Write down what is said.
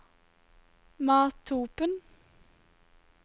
Mathopen